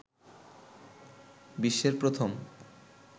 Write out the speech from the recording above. বিশ্বের প্রথম